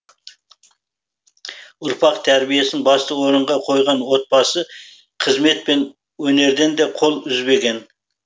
ұрпақ тәрбиесін басты орынға қойған отбасы қызмет пен өнерден де қол үзбеген